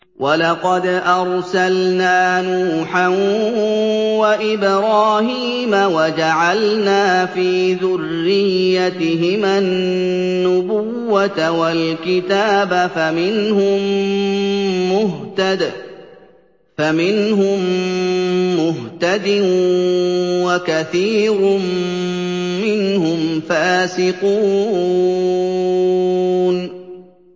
وَلَقَدْ أَرْسَلْنَا نُوحًا وَإِبْرَاهِيمَ وَجَعَلْنَا فِي ذُرِّيَّتِهِمَا النُّبُوَّةَ وَالْكِتَابَ ۖ فَمِنْهُم مُّهْتَدٍ ۖ وَكَثِيرٌ مِّنْهُمْ فَاسِقُونَ